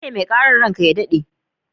Ni ne mai karan, ran ka ya dade.